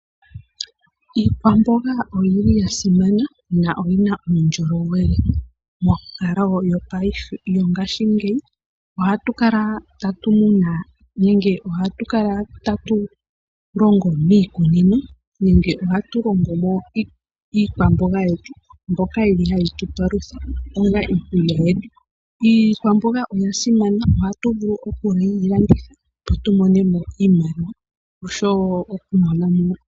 Iikwamboga oyili yasimana na oyina uundjolowele. Monkalo yongashingeyi ohatu kala tatu muna nenge ohatu kala tatu longo miikunino. Nenge ohatu longo mo iikwamboga yetu. Mbyoka yili yahi tu palutha onga iikulya. Iikwamboga oya simana oha tu vulu okuyi landitha opo tu mone mo iimaliwa oshowo oku monamo.